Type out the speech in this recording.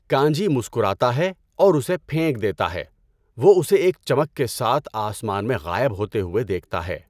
کانجی مسکراتا ہے اور اسے پھینک دیتا ہے، وہ اسے ایک چمک کے ساتھ آسمان میں غائب ہوتے ہوئے دیکھتا ہے۔